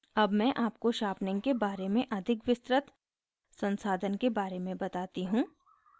अब मैं आपको sharpening के बारे अधिक विस्तृत संसाधन के बारे में बताती हूँ